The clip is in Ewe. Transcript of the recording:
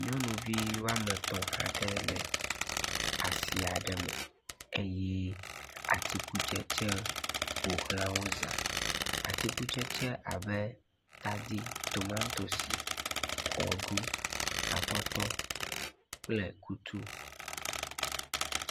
Nyɔnuvi wɔme tɔ̃ aɖe le asi aɖe me eye atikutsetse ƒoxlawo zã. Atikutsetse abe; tadi, tomatosi, kɔɖu, atɔtɔ kple kutu.